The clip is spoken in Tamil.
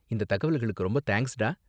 இந்த தகவல்களுக்கு ரொம்ப தேங்க்ஸ்டா.